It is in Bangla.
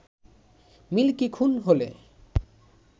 মিল্কি খুন হলে